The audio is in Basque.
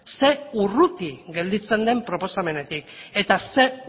zein urruti gelditzen den proposamenetik eta zein